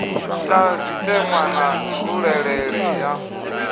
ta zwitenwa na nzulelele ya